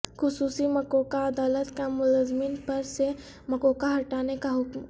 خصوصی مکوکا عدالت کا ملزمین پر سے مکوکا ہٹانے کا حکم